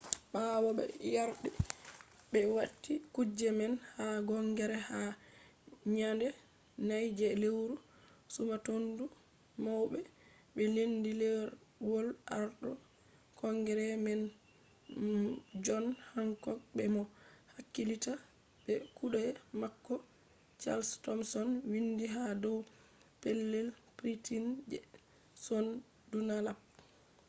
ɓawo ɓe yardi ɓe wati kuje man ha kongres ha nyande 4 je lewru sumatondu wawbe ɓe lendi ɗerwol arɗo kongres man jon hankok be mo hakkilitta be kuɗe mako chals tomson windi ha dow pellel printin je jon dunlap